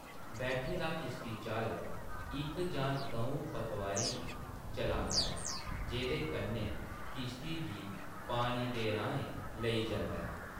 बैठे दा किश्तीचालक इक जां द'ऊं पतवारें गी चलांदा ऐ, जेह्दे कन्नै किश्ती गी पानी दे राहें लेई जंदा ऐ।